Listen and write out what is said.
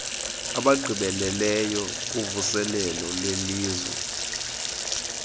abagqibeleleyo kuvuselelo lwelizwe